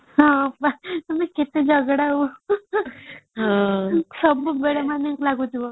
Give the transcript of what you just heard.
ଟିକେ ଝଗଡା ହଉ ସବୁ ବେଳେ ମାନେ ଲାଗୁଥିଲା